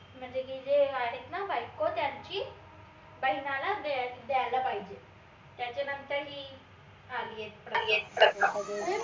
म्हनजे की जे आहेत ना बायको त्यांची बहिनाला द्यायला पाहिजे त्याच्या नंतर ही आलीयत प्रथा